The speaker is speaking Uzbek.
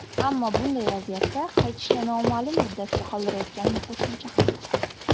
Ammo bunday vaziyatda qaytishni noma’lum muddatga qoldirayotganini qo‘shimcha qildi.